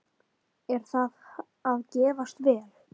Er það að gefast vel?